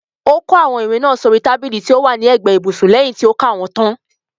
Ó kó àwọn ìwé náà sóri tábìlì tó wà ní ẹ̀gbẹ́ ibùsùn lẹyìn tí ó ka wọ́n tán.